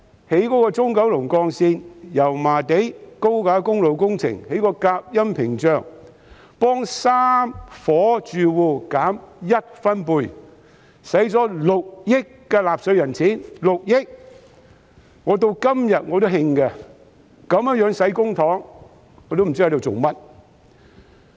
例如興建中九龍幹線，要在油麻地的高架公路加設隔音屏障，替3伙住戶把噪音降低1分貝，花了納稅人6億元，我至今仍感到氣憤，如此花費公帑，我也不知道究竟為何？